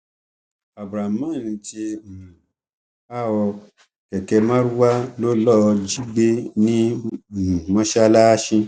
abdulrahman ti um há ọ kẹkẹ marwa ló lọọ jí gbé ní um mọsáláàsì